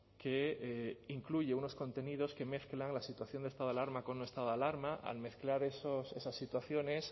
que incluye unos contenidos que mezclan la situación esta de alarma con un estado de alarma al mezclar esas situaciones